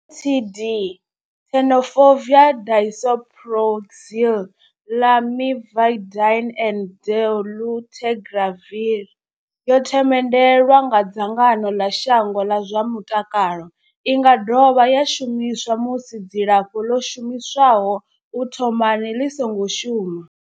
TD Tenofovir disoproxil, Lamivudine and dolutegravir yo themendelwa nga dzangano ḽa shango ḽa zwa mutakalo. I nga dovha ya shumiswa musi dzilafho ḽo shumiswaho u thomani ḽi songo shuma.